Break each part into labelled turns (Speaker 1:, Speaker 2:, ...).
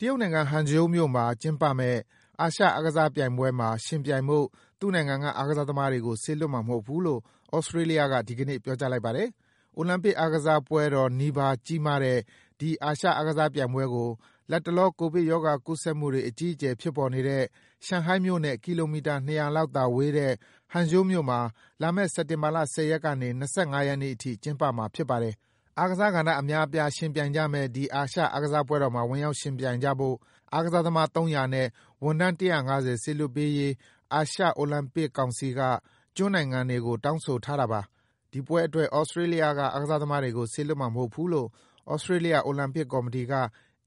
Speaker 1: တရုတ်နိုင်ငံ၊ Hangzhou မြို့မှာ ကျင်းပမယ့် အာရှအားကစားပြိုင်ပွဲမှာ ယှဉ်ပြိုင်ဖို့ သူ့နိုင်ငံက အားကစားသမားတွေကို စေလွှတ်မှာမဟုတ်ဘူးလို့ သြစတြေးလျက ဒီကနေ့ ပြောကြားလိုက်ပါတယ်။ အိုလံပစ်အားကစားပွဲတော်နီးပါး ကြီးမားတဲ့ ဒီ အာရှအားကစားပြိုင်ပွဲကို လတ်တလော ကိုဗစ်ရောဂါကူးစက်မှုတွေ အကြီးအကျယ် ဖြစ်ပေါ်နေတဲ့ ရှန်ဟိုင်းမြို့နဲ့ ကီလိုမီတာ ၂၀၀ လောက်သာဝေးတဲ့ Hangzhou မြို့မှာ လာမယ့် စက်တင်ဘာလ ၁၀ ရက်ကနေ ၂၅ ရက်နေ့အထိ ကျင်းပမှာ ဖြစ်ပါတယ်။ အားကစားကဏ္ဍ အများအပြား ယှဉ်ပြိုင်ကြမယ့် ဒီ အာရှအားကစားပွဲတော်မှာ ဝင်ရောက်ယှဉ်ပြိုင်ကြဖို့ အားကစားသမား ၃၀၀ နဲ့ ဝန်ထမ်း ၁၅၀ စေလွှတ်ပေးဖို့ အာရှ အိုလံပစ်ကောင်စီက Oceania ကျွန်းနိုင်ငံတွေကို တောင်းဆိုထားတာပါ။ ဒီပွဲအတွက် သြစတြေးလျက အားကစားသမားတွေကို စေလွှတ်မှာမဟုတ်ဘူးလို့ သြစတြေးလျ အိုလံပစ်ကော်မတီက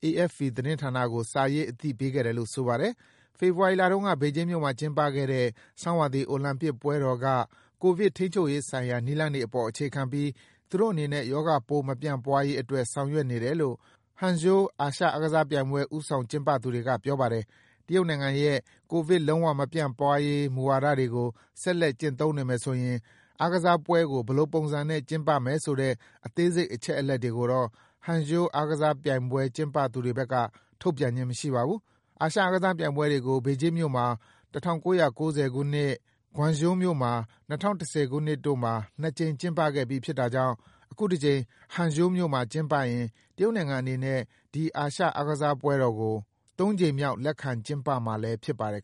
Speaker 1: AFP သတင်းဌာနကို စာရေး အသိပေးခဲ့တယ်လို့ ဆိုပါတယ်။ ဖေဖော်ဝါရီလတုန်းက ဘေဂျင်းမြို့မှာ ကျင်းပခဲ့တဲ့ ဆောင်းရာသီ အိုလံပစ်ပွဲတော်က ကိုဗစ်ထိန်းချုပ်ရေးဆိုင်ရာ နည်းလမ်းတွေအပေါ် အခြေခံပြီး သူတို့အနေနဲ့ ရောဂါပိုး မပြန့်ပွားရေးအတွက် ဆောင်ရွက်နေတယ်လို့ Hangzhou အာရှအားကစားပြိုင်ပွဲ ဦးဆောင်ကျင်းပသူတွေက ပြောပါတယ်။ တရုတ်နိုင်ငံရဲ့ ကိုဗစ် လုံးဝမပြန့်ပွားရေး မူဝါဒတွေကို ဆက်လက်ကျင့်သုံးနေမယ်ဆိုရင် အားကစားပွဲကို ဘယ်လိုပုံစံနဲ့ ကျင်းပမယ်ဆိုတဲ့ အသေးစိတ် အချက်အလက်တွေကိုတော့ Hangzhou အာရှအားကစားပြိုင်ပွဲ ကျင်းပသူတွေဘက်က ထုတ်ပြန်ခြင်း မရှိပါဘူး။ အာရှအားကစားပြိုင်ပွဲတွေကို ဘေဂျင်းမြို့မှာ ၁၉၉၀ ခုနှစ်၊ Guangzhou မြို့မှာ ၂၀၁၀ ခုနှစ်တို့မှာ ၂ ကြိမ် ကျင်းပခဲ့ပြီး ဖြစ်တာကြောင့် အခုတကြိမ် Hangzhou မြို့မှာ ကျင်းပရင် တရုတ်နိုင်ငံအနေနဲ့ ဒီအားကစားပွဲကို ၃ ကြိမ်မြောက် လက်ခံကျင်းပမှာလည်း ဖြစ်ပါတယ်